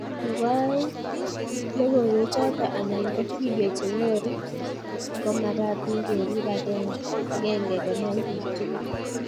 Nebo oeng, logoiwechoto anan ko video chenyoru komagatin kerib akende konai bik tugul